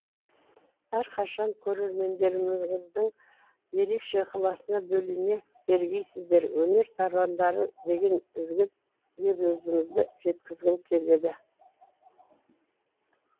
әрқашан көрермендеріңіздің ерекше ықылысына бөлене бергейсіздер өнер тарландары деген ізгі лебізімізді жеткізгім келеді